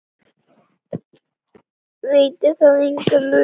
Veitti það enga lausn?